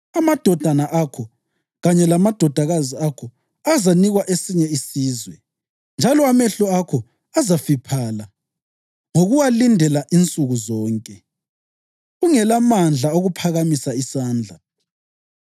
Amadodana akho kanye lamadodakazi akho azanikwa esinye isizwe, njalo amehlo akho azafiphala ngokuwalindela insuku zonke, ungelamandla okuphakamisa isandla.